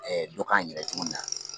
dɔ k'an yɛrɛ ye cogo min na.